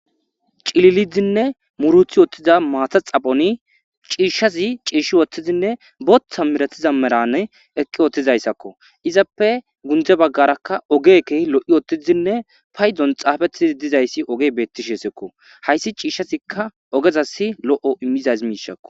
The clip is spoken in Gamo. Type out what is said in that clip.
Cililidinne muruthi wotthiza maata xaphoni ciishshazi ciishshi woththizinne booththa miratiza merane eqqi ottizayssakko izappe gundze baggarakka ogeke lo'i ottizinne paydon xaafettidi dizayssi oge beettisheesekko hayssi ciishshazikka ogezas lo'o immizaz miishakko.